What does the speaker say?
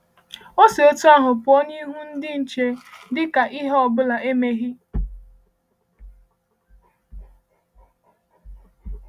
O si otú ahụ pụọ n’ihu ndị nche dị ka ihe ihe ọ bụla emeghị?